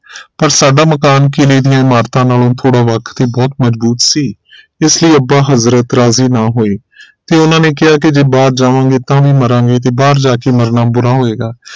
ਪਰ ਸਾਡਾ ਮਕਾਨ ਕਿਲੇ ਦੀਆਂ ਇਮਾਰਤਾਂ ਨਾਲੋਂ ਥੋੜਾ ਵੱਖ ਕੇ ਬਹੁਤ ਮਜ਼ਬੂਤ ਸੀ ਇਸ ਲਈ ਅੱਬਾ ਹਜ਼ਰਤ ਰਾਜ਼ੀ ਨਾ ਹੋਏ ਤੇ ਉਹਨਾਂ ਨੇ ਕਿਹਾ ਕਿ ਜੇ ਬਾਹਰ ਜਾਵਾਂਗੇ ਤਾਂ ਵੀ ਮਾਰਾਂਗੇ ਤੇ ਬਾਹਰ ਜਾਕੇ ਮਰਨਾ ਬੁਰਾ ਹੋਏਗਾ